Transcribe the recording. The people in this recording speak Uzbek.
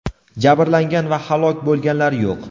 Jabrlanganlar va halok bo‘lganlar yo‘q.